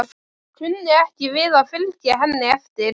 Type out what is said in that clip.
Kunni ekki við að fylgja henni eftir.